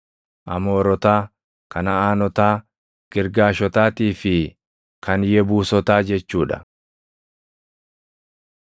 Amoorotaa, Kanaʼaanotaa Girgaashotaatii fi kan Yebuusotaa jechuu dha.”